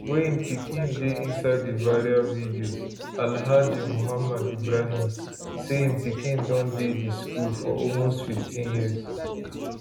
wey im pikin dey inside di viral video alhaji muhammed ibrahim say im pikin don dey di school for almost 15 years